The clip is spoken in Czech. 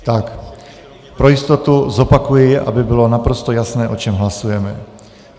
Tak pro jistotu zopakuji, aby bylo naprosto jasné, o čem hlasujeme.